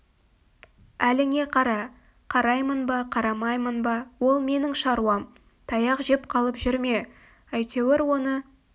әліңе қара қараймын ба қарамаймын ба ол менің шаруам таяқ жеп қалып жүрме әйтеуір оны